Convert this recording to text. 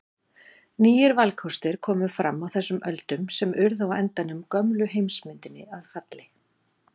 Nýir valkostir komu fram á þessum öldum sem urðu á endanum gömlu heimsmyndinni að falli.